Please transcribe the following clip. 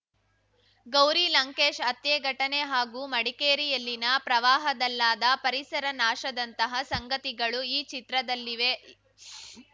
ಗೌರಿ ಲಂಕೇಶ್‌ ಹತ್ಯೆ ಘಟನೆ ಹಾಗೂ ಮಡಿಕೇರಿಯಲ್ಲಿನ ಪ್ರವಾಹದಲ್ಲಾದ ಪರಿಸರ ನಾಶದಂತಹ ಸಂಗತಿಗಳು ಈ ಚಿತ್ರದಲ್ಲಿವೆ